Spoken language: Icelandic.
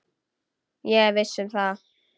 Ég er viss um það.